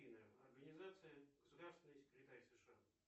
афина организация государственный секретарь сша